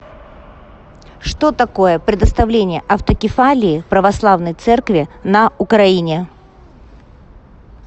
что такое предоставление автокефалии православной церкви на украине